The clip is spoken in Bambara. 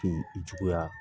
Te i juguya